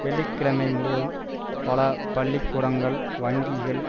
வெள்ளி கிழமை முழுவதும் பல பள்ளி கூடங்கள் வங்கிகள்